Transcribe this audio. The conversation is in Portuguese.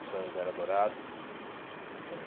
Os sonhos eram dourados nos anos